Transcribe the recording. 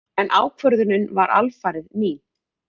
En ákvörðunin var alfarið mín.